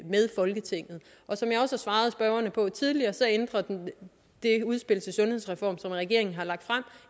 med folketinget og som jeg også har svaret spørgerne tidligere ændrer det udspil til sundhedsreform som regeringen har lagt frem